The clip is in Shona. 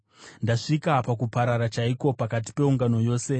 Ndasvika pakuparara chaiko pakati peungano yose.”